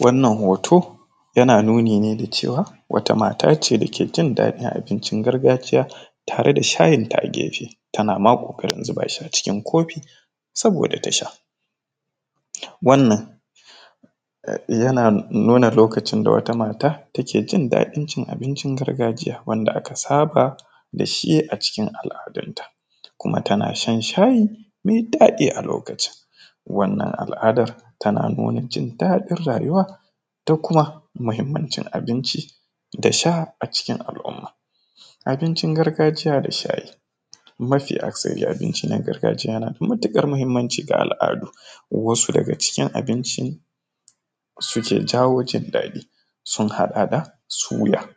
Wannan hoto yana nuni ne da cewa wata mata ce dake jin daɗin abincin gargajiya tare da shayin ta a gefe tana ma ƙoƙarin zuba shi a cikin kofi saboda tasha, wannan yana nuna lokacin da wata mata take jin daɗin cin abincin gargajiya wanda aka saba da shi a cikin al’adunta kuma tana shan shayi mai daɗi, a lokacin wannan al’adar tana nuna jin rayuwa da kuma muhimmancin abinci da sha a cikin al’umma, abincin gargajiya da shayi mafi aksari abinci na gargajiya na da matuƙar muhimmannci ga al’adu wasu daga ciki abinci suke jawo jin daɗi sun haɗa da, suya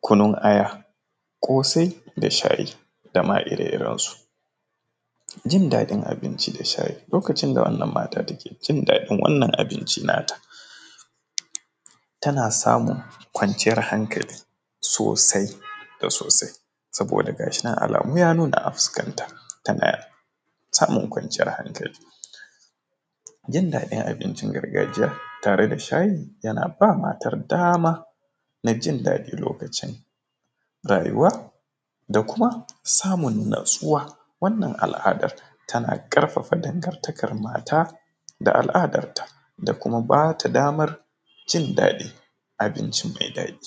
kunun aya ƙoasai da shayi dama ire irensu jin daɗin abinci da shayi, lokacin da wannan mata take jin daɗin wannan abinci nata tana samun kwanciyar hankali sosai da sosai saboda gashi nan alamu ya nuna a fuskanta tana samun kwanciyar hankali jin daɗin abincin gargajiya tare da shayi yana ba matar dama najin daɗin lokacin rayuwa da kuma samun natsuwa, wannan al’adar tana ƙarfafa dangartakar mata da al’adarta da kuma bata damar cin daɗin abinci mai daɗi.